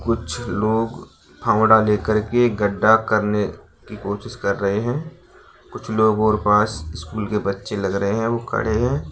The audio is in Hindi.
कुछ लोग फावडा लेकर के गड्ढा करने की कोशिश कर रहे हैं कुछ लोगों के पास स्कूल के बच्चे लगे हैं वो खड़े हैं।